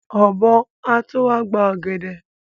Ọ̀bọ́ á tó wá gba ọ̀gẹ̀dẹ̀.